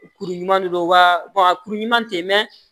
Kuru ɲuman de don wa a kuru ɲuman tɛ mɛ